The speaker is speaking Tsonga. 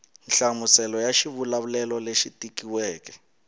nhlamuselo ya xivulavulelo lexi tikisiweke